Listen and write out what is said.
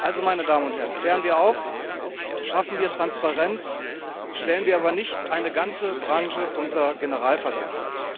Also, meine Damen und Herren Klären wir auf, schaffen wir Transparenz, stellen wir aber nicht eine ganze Branche unter Generalverdacht!